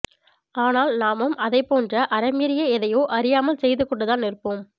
ஆனால் நாமும் அதைப்போன்ற அறம் மீறிய எதையோ அறியாமல் செய்துகொண்டுதான் இருப்போம்